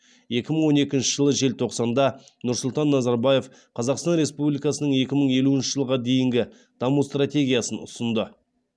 екі мың он екінші жылы желтоқсанда нұрсұлтан назарбаев қазақстан республикасының екі мың елуінші жылға дейінгі даму стратегиясын ұсынды